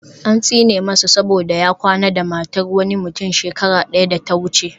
An tsine masa saboda ya kwana da matar wani mutum shekara daya da ta wuce